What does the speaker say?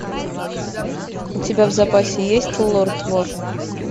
у тебя в запасе есть лорд вор